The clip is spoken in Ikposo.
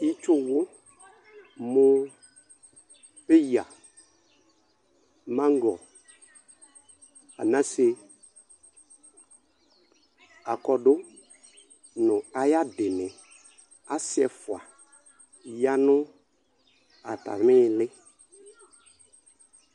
Ɩtsuwu mu paya magɔ anase akɔdʊ nʊ ayʊ adini asi ɛfua yanʊ atami ili